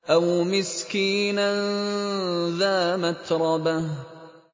أَوْ مِسْكِينًا ذَا مَتْرَبَةٍ